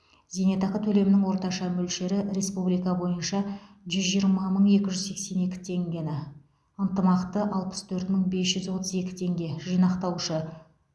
зейнетақы төлемінің орташа мөлшері республика бойынша жүз жиырма мың екі жүз сексен екі теңгені ынтымақты алпыс төрт мың бес жүз отыз сегіз теңге жинақтаушы